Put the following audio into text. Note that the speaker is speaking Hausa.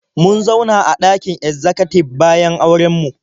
Mun zauna a ɗakin ezzakatib bayan auren mu.